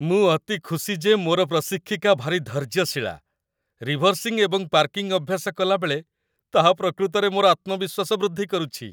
ମୁଁ ଅତି ଖୁସି ଯେ ମୋର ପ୍ରଶିକ୍ଷିକା ଭାରି ଧୈର୍ଯ୍ୟଶୀଳା, ରିଭର୍ସିଙ୍ଗ ଏବଂ ପାର୍କିଂ ଅଭ୍ୟାସ କଲାବେଳେ ତାହା ପ୍ରକୃତରେ ମୋର ଆତ୍ମବିଶ୍ୱାସ ବୃଦ୍ଧି କରୁଛି।